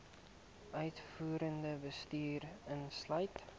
uitvoerende bestuur insluit